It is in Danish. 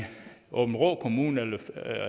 aabenraa kommune